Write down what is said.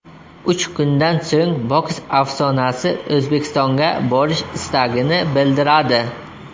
Uch kundan so‘ng boks afsonasi O‘zbekistonga borish istagini bildiradi.